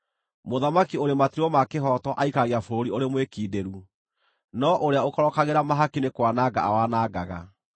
Mũthamaki ũrĩ matuĩro ma kĩhooto aikaragia bũrũri ũrĩ mwĩkindĩru, no ũrĩa ũkorokagĩra mahaki nĩ kwananga awanangaga.